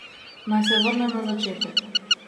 Naj se vrnem na začetek.